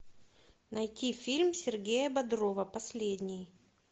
найти фильм сергея бодрова последний